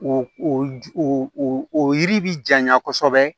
O o o o o o yiri bi janya kosɛbɛ